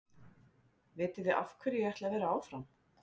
Vitiði af hverju ég ætla að vera áfram?